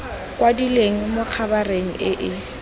kwadilwe mo khabareng e e